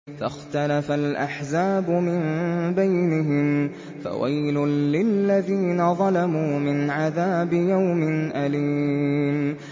فَاخْتَلَفَ الْأَحْزَابُ مِن بَيْنِهِمْ ۖ فَوَيْلٌ لِّلَّذِينَ ظَلَمُوا مِنْ عَذَابِ يَوْمٍ أَلِيمٍ